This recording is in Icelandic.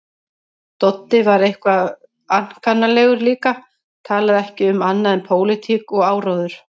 Doddi var eitthvað ankannalegur líka, talaði ekki um annað en pólitík og áróður.